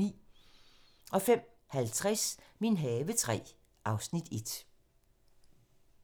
05:50: Min have III (Afs. 1)